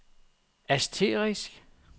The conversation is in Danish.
asterisk